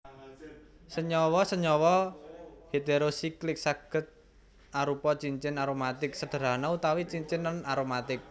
Senyawa senyawa heterosiklik sagéd arupa cincin aromatik sederhana utawi cincin non aromatik